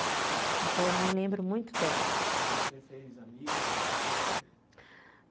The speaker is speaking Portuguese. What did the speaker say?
Então, eu nem lembro muito dela.